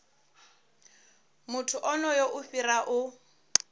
muthu onoyo i fhira u